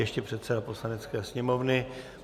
Ještě předseda Poslanecké sněmovny.